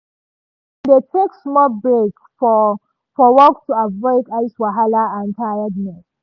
dem dey take small break for for work to avoid eye wahala and tiredness.